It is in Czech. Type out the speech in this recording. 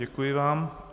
Děkuji vám.